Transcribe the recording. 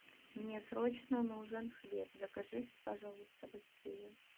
мне срочно нужен хлеб закажи пожалуйста быстрее